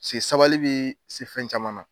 se sabali bɛ se fɛn caman na.